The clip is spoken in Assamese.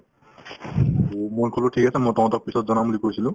to মই ক'লো ঠিক আছে মই তহঁতক পিছত জনাম বুলি কৈছিলো